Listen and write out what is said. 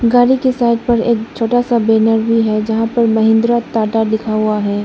गाड़ी के साइड पर एक छोटा सा बैनर भी है जहां पर महेंद्ररा टाटा लिखा हुआ है।